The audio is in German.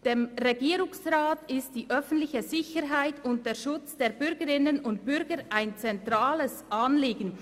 «Dem Regierungsrat ist die öffentliche Sicherheit und der Schutz der Bürgerinnen und Bürger ein zentrales Anliegen.